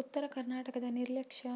ಉತ್ತರ ಕರ್ನಾಟಕದ ನಿರ್ಲಕ್ಷ್ಯ